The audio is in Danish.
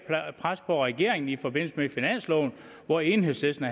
pres på regeringen i forbindelse med finansloven hvor enhedslisten